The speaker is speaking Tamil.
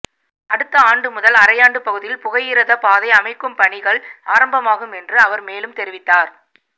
அடுத்த ஆண்டு முதல் அரையாண்டு பகுதியில் புகையிரத பாதை அமைக்கும் பணிகள் ஆரம்பமாகும் என்று அவர் மேலும் தெரிவித்தார்